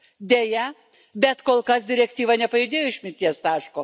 Deja, bet kol kas direktyva nepajudėjo iš mirties taško.